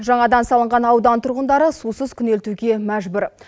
жаңадан салынған аудан тұрғындары сусыз күнелтуге мәжбүр